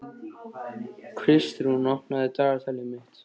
Kristrún, opnaðu dagatalið mitt.